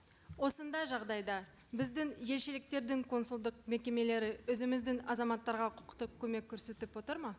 осындай жағдайда біздің елшіліктердің консулдық мекемелері өзіміздің азаматтарға құқықтық көмек көрсетіп отыр ма